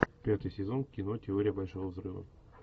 пятый сезон кино теория большого взрыва